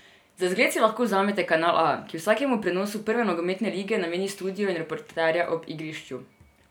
Za zgled si lahko vzamete Kanal A, ki vsakemu prenosu prve nogometne lige nameni studio in reporterja ob igrišču.